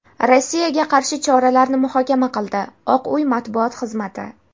Rossiyaga qarshi choralarni muhokama qildi – Oq uy matbuot xizmati.